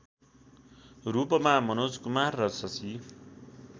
रूपमा मनोज कुमार र शशि